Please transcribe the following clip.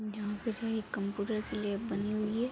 यहां पे जो है एक कंप्यूटर की लैब बनी हुई है।